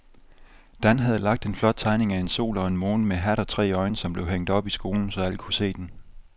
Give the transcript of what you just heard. Dan havde lavet en flot tegning af en sol og en måne med hat og tre øjne, som blev hængt op i skolen, så alle kunne se den.